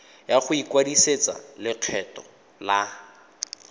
ya go ikwadisetsa lekgetho la